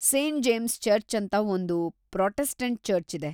Saint James church ಅಂತ ಒಂದ್ Protestant church ಇದೆ.